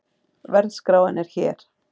Verðskráin er hér